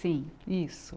Sim, isso.